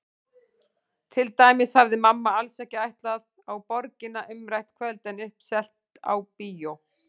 Til dæmis hafði mamma alls ekki ætlað á Borgina umrætt kvöld en uppselt á bíó.